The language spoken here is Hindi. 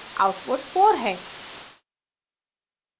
output 4 है